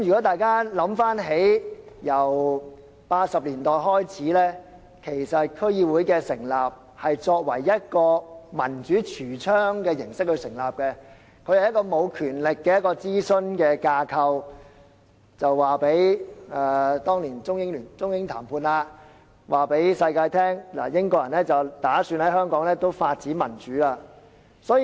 大家一同回想，自1980年代開始，區議會是以一個民主櫥窗的形式成立，是一個沒有權力的諮詢架構，是當年中英談判期間，英國人要告訴全球他們打算在香港發展民主。